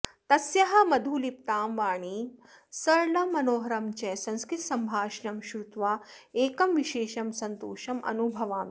तस्याः मधुलिप्तां वाणीं सरलं मनोहरं च संस्कृतसम्भाषणं श्रुत्वा एकं विशेषं सन्तोषम् अनुभवामि